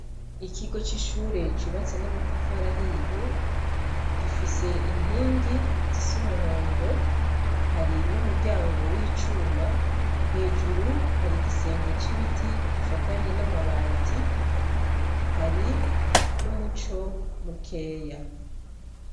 Ikigo c'ishure cubatse n'amatafari ahiye, gifise inkingi zis'umuhondo, hari n'umuryango w'icuma , hejuru hari igisenge c'ibiti gifatanye n'amabati, hari n'umuco mukeya.